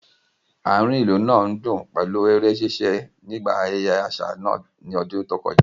Àárín ìlú náà ń dùn pẹ̀lú eré ṣíṣe nígbà ayẹyẹ àṣà náà ní ọdún tó kọjá